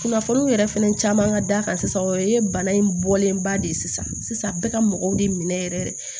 Kunnafoniw yɛrɛ fɛnɛ caman ka da kan sisan o ye bana in bɔlen ba de ye sisan a bɛɛ ka mɔgɔw de minɛ yɛrɛ